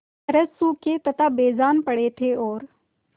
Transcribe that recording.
तरह सूखे तथा बेजान पड़े थे और